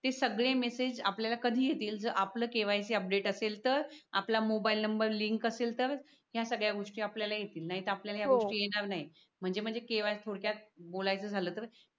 ते सगळे मेसेज आपल्याला कधी येतील जर आपलं KYC अपडेट असेल तर आपला मोबाईल नंबर Link असेल तर या सगळ्या गोष्टी आपल्याला येतील नाहीतर आपल्याला या गोष्टी येणार नाही म्हणजे म्हणजे केवा थोडक्यात बोलायचं झालं तर.